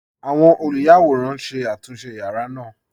Awọn olúyàwòran n ṣé àtúnṣe yàra naa.